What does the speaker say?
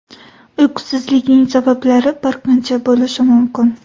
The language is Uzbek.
Uyqusizlikning sabablari bir qancha bo‘lishi mumkin.